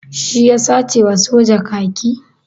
Shi ya sace wa soja kaki?